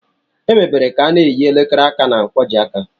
Emebere ka a n'eyi elekere aka na nkwojiaka